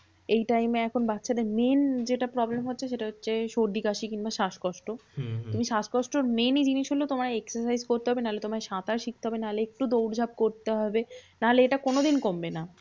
এই time এ এখন বাচ্চাদের main যেটা problem হচ্ছে সেটা হচ্ছে সর্দি কাশি কিংবা শ্বাসকষ্ট। হম হম তুমি স্বাসকষ্টর main ই জিনিস হলো তোমায় exercise করতে হবে, নাহলে তোমায় সাঁতার শিখতে হবে, নাহলে একটু দৌড় ঝাঁপ করতে হবে, নাহলে এটা কোনোদিন কমবে না।